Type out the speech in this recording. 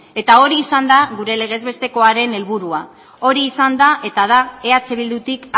eta hori izan da gure legez bestekoaren helburua hori izan da eta da eh bildutik